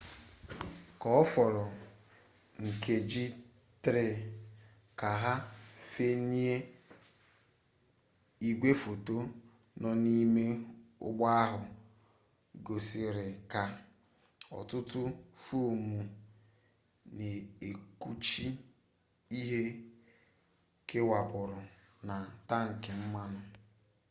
k'oforo nkeji 3 ka ha fenyie igwefoto no n'ime ugbo ahu gosirika otutu foam n'ekpuchi ihe kewapuru na tanki mmanu